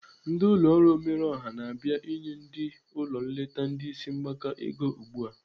Ndị ụlọ ọrụ omerọọha na-abịa inye ndị ụlọ nleta ndị isi mgbaka ego ugbu a.